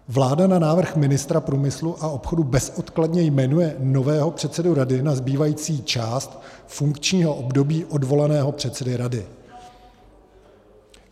Vláda na návrh ministra průmyslu a obchodu bezodkladně jmenuje nového předsedu rady na zbývající část funkčního období odvolaného předsedy rady.